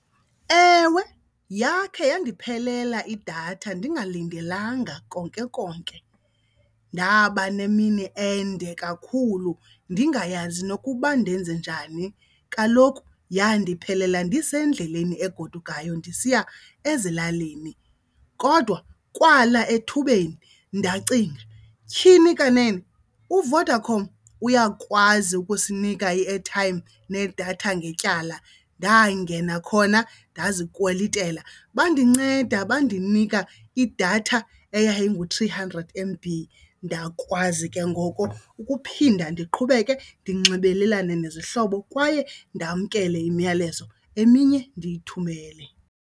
Ewe, yakhe yandiphelela idatha ndingalindelanga konke konke. Ndaba nemini ende kakhulu ndingayazi nokuba ndenze njani, kaloku yandiphelela ndisendleleni egodukayo ndisiya ezilalini. Kodwa kwala ethubeni ndacinga tyhini kanene uVodacom uyakwazi ukusinika i-airtime nedatha ngetyala, ndangena khona ndazikhwelitela. Bandinceda bandinika idatha eyayingu-three hundred M_B, ndakwazi ke ngoko ukuphinda ndiqhubeke ndinxibelelane nezihlobo kwaye ndamkele imiyalezo, eminye ndiyithumelele.